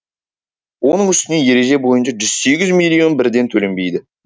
оның үстіне ереже бойынша жүз сегіз миллион бірден төленбейді